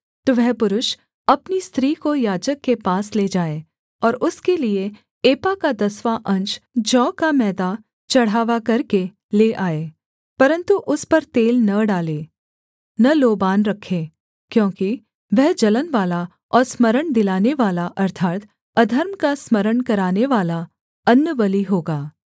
तो वह पुरुष अपनी स्त्री को याजक के पास ले जाए और उसके लिये एपा का दसवाँ अंश जौ का मैदा चढ़ावा करके ले आए परन्तु उस पर तेल न डाले न लोबान रखे क्योंकि वह जलनवाला और स्मरण दिलानेवाला अर्थात् अधर्म का स्मरण करानेवाला अन्नबलि होगा